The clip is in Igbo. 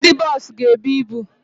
Ndị boosu ga-ebu ịbụ